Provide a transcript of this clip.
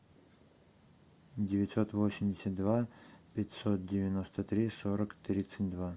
девятьсот восемьдесят два пятьсот девяносто три сорок тридцать два